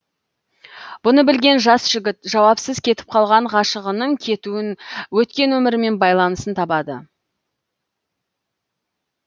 бұны білген жас жігіт жауапсыз кетіп қалған ғашығының кетуін өткен өмірімен байланысын табады